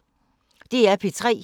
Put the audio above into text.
DR P3